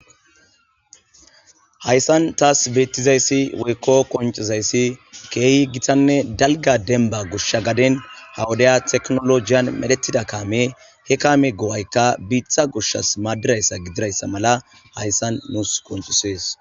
hayssan taas beettizayssi woykko koncizayssi keehi gitanne dalga denba gushsha gaden hawudaya teknolojiyan medhetida kaame he kaame go7aykka biitha gushshas maaddirayssa gidirayssa mala hayssan nuus koncisees